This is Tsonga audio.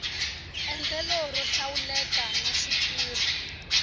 endlelo ro hlawuleka na switirho